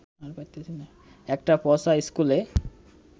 একটা পচা স্কুলে